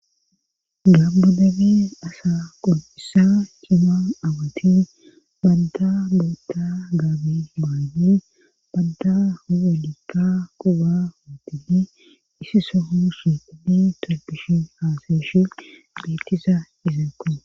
gamo dere asa qoncisiza cima awatin badda bootta gaabi hmaani badda huwalikka quba udini isi soho shi uddi torpishin haasayeshe bettiza iziko